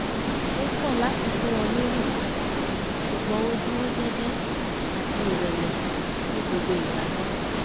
ó kọ̀ láti fún wọn ní rìbá ṣùgbọ́n ó dúró jẹ́jẹ́ àti ìrẹ̀lẹ̀ ní gbogbo ìgbà náà